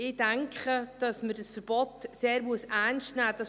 Ich denke, dass man dieses Verbot sehr ernst nehmen muss.